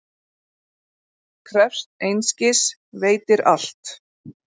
Krefst einskis, veitir allt.